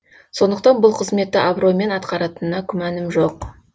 сондықтан бұл қызметті абыроймен атқаратынына күмәнім жоқ